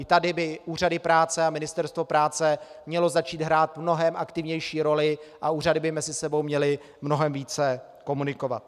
I tady by úřady práce a Ministerstvo práce měly začít hrát mnohem aktivnější roli a úřady by mezi sebou měly mnohem více komunikovat.